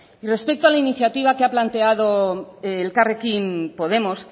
y respeto a la iniciativa que ha planteado elkarrekin podemos